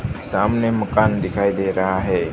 सामने मकान दिखाई दे रहा है।